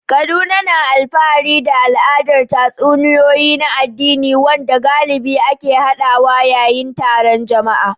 Kaduna na alfahari da al'adar tatsuniyoyi na addini, wanda galibi ake yaɗawa yayin taron jama'a.